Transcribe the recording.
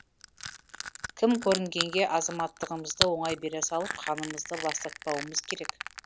кім көрінгенге азаматтығымызды оңай бере салып қанымызды ластатпауымыз керек